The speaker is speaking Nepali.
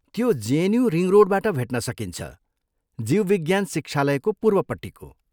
त्यो जेएनयु रिङ रोडबाट भेट्न सकिन्छ, जीवविज्ञान शिक्षालयको पूर्वपट्टिको।